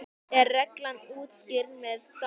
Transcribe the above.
er reglan útskýrð með dæmi